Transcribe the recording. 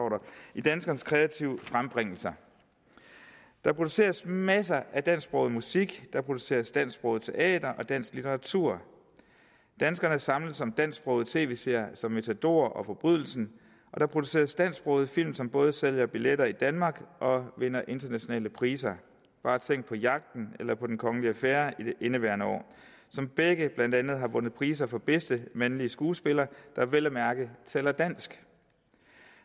i danskernes kreative frembringelser der produceres masser af dansksproget musik der produceres dansksproget teater og dansk litteratur danskerne samles om dansksprogede tv serier som matador og forbrydelsen og der produceres dansksprogede film som både sælger billetter i danmark og vinder internationale priser bare tænk på jagten eller på en kongelig affære i indeværende år som begge blandt andet har vundet priser for bedste mandlige skuespiller der vel at mærke taler dansk